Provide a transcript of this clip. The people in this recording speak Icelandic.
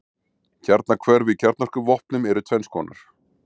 Kjarnahvörf í kjarnorkuvopnum eru tvenns konar.